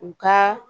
U ka